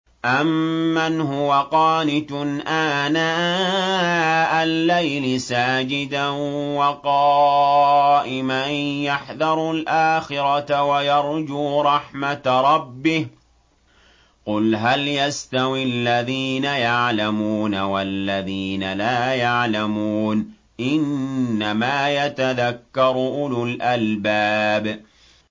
أَمَّنْ هُوَ قَانِتٌ آنَاءَ اللَّيْلِ سَاجِدًا وَقَائِمًا يَحْذَرُ الْآخِرَةَ وَيَرْجُو رَحْمَةَ رَبِّهِ ۗ قُلْ هَلْ يَسْتَوِي الَّذِينَ يَعْلَمُونَ وَالَّذِينَ لَا يَعْلَمُونَ ۗ إِنَّمَا يَتَذَكَّرُ أُولُو الْأَلْبَابِ